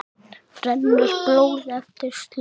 rennur blóð eftir slóð